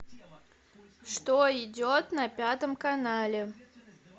что идет на пятом канале